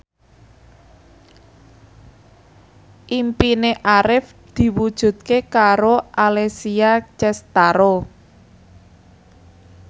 impine Arif diwujudke karo Alessia Cestaro